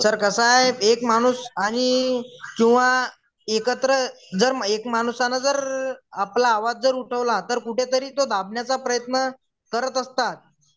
Sir कस आहे एक माणूस आणि किंवा एकत्र जर एक माणूस आलं जर आपला आवाज जर उठवला तर कुठेतरी ते दाबण्याचा प्रयत्न करत असतात.